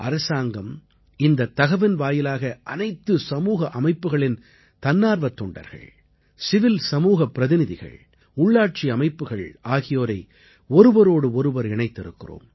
அரசாங்கம் இந்தத் தகவின் வாயிலாக அனைத்து சமூக அமைப்புக்களின் தன்னார்வத் தொண்டர்கள் சிவில் சமூகப் பிரதிநிதிகள் உள்ளாட்சி அமைப்புக்கள் ஆகியோரை ஒருவரோடு ஒருவர் இணைத்திருக்கிறோம்